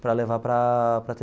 para levar para a para a.